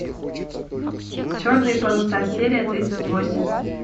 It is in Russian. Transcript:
черные паруса серия тридцать восемь